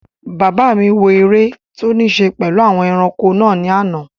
Bàbá mi wò eré tó ní ṣe pẹ̀lú àwọn ẹranko náà ní àná